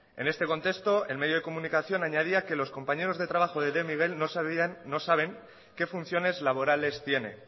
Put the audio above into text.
en este contexto el medio de comunicación añadía que los compañeros de trabajo de de miguel no sabían no saben qué funciones laborales tiene